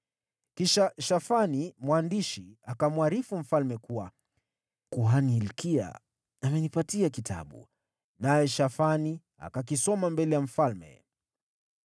Kisha Shafani mwandishi akamwarifu mfalme kuwa, “Kuhani Hilkia amenipa Kitabu.” Naye Shafani akakisoma mbele ya mfalme.